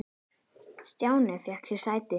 Stjáni fékk sér sæti.